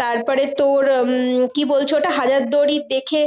তারপরে তোর উম কি বলছো ওটা হাজারদুয়ারি দেখে